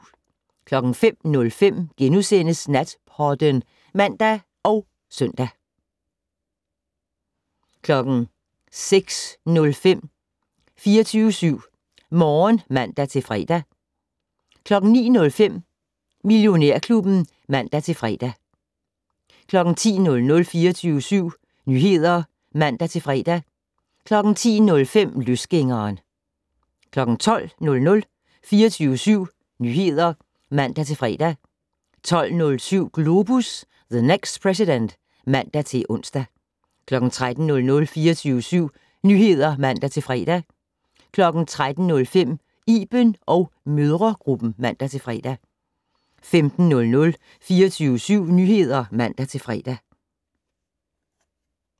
05:05: Natpodden *(man og søn) 06:05: 24syv Morgen (man-fre) 09:05: Millionærklubben (man-fre) 10:00: 24syv Nyheder (man-fre) 10:05: Løsgængeren 12:00: 24syv Nyheder (man-fre) 12:07: Globus - the next president (man-ons) 13:00: 24syv Nyheder (man-fre) 13:05: Iben & mødregruppen (man-fre) 15:00: 24syv Nyheder (man-fre)